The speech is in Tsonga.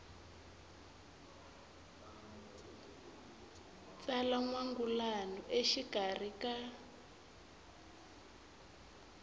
tsala n wangulano exikarhi ka